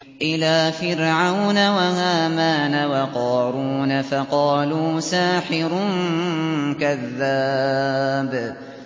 إِلَىٰ فِرْعَوْنَ وَهَامَانَ وَقَارُونَ فَقَالُوا سَاحِرٌ كَذَّابٌ